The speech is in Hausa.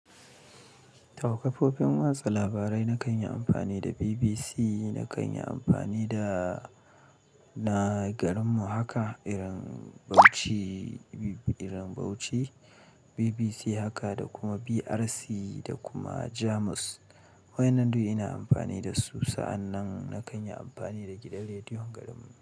Tau kafofin watsa labarai na kan yi amfani da BBC, na kan yi amfani da na garinmu haka irin Bauchi, irin Bauchi BBC haka da kuma BRC da kuma Jamus. Waƴannan duk ina amfani da su, sa'annan na kan yi amfani da gidan rediyon garinmu.